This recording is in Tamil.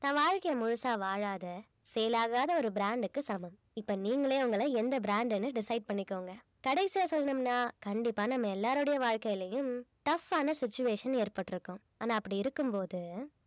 தன் வாழ்க்கைய முழுசா வாழாத sale ஆகாத ஒரு brand க்கு சமம் இப்ப நீங்களே உங்கள எந்த brand ன்னு decide பண்ணிக்கோங்க கடைசியா சொல்லணும்னா கண்டிப்பா நம்ம எல்லாருடைய வாழ்க்கையிலும் tough ஆன situation ஏற்பட்டிருக்கும் ஆனா அப்படி இருக்கும்போது